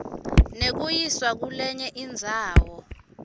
nekuyiswa kulenye indzawo